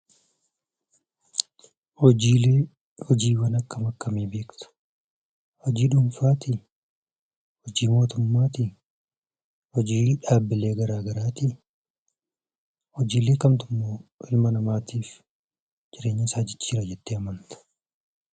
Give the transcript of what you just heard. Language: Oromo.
Hojiilee hojiiwwan akkam akkamii beekta? hojii dhuunfaatii? hojii mootummaatii? hojii dhaabbilee garaa garaatii? hojiilee kamtummoo ilma namaatiif jireenyasaa jijjiira jettee amanta?